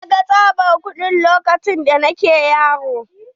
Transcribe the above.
Na gan tsabar kuɗi lokacin da nake yaro.